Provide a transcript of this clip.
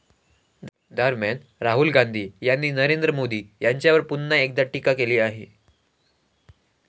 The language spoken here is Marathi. दरम्यान, राहुल गांधी यांनी नरेंद्र मोदी यांच्यावर पुन्हा एकदा टीका केली आहे.